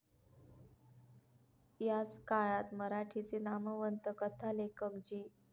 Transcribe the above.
याच काळात मराठीचे नामवंत कथालेखक जी.